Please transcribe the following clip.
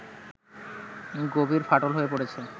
গভীর ফাটল হয়ে পড়েছে